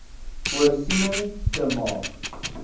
voorsiening te maak